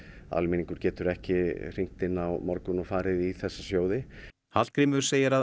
almenningur getur ekki hringt inn á morgun og farið inn í þessa sjóði Hallgrímur segir að